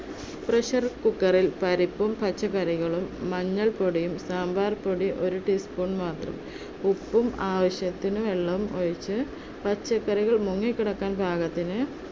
pressure cooker ൽ പരിപ്പും, പച്ചക്കറികളും, മഞ്ഞൾ പൊടിയും, സാമ്പാർ പൊടി ഒരു teaspoon മാത്രം ഉപ്പും, ആവശ്യത്തിന് വെള്ളവുമൊഴിച്ച് പച്ചക്കറികൾ മുങ്ങിക്കിടക്കുവാൻ പാകത്തിന്